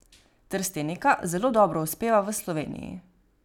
Trstenika zelo dobro uspeva v Sloveniji.